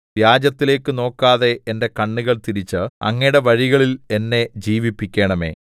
വ്യാജത്തിലേക്കു നോക്കാതെ എന്റെ കണ്ണുകൾ തിരിച്ച് അങ്ങയുടെ വഴികളിൽ എന്നെ ജീവിപ്പിക്കണമേ